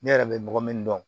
Ne yɛrɛ bɛ mɔgɔ min dɔn